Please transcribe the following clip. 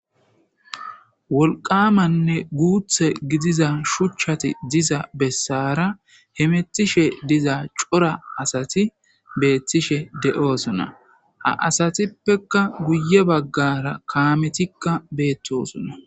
Woliwamanne guththe gidida shuchchati diza besara hemetishshe diza cora asati betishshe de'esona haa asatuppekka guye bagara kameti betosonna.